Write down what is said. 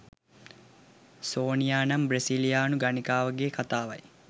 සෝනියා නම් බ්‍රසීලියානු ගණිකාවකගේ කතාවයි.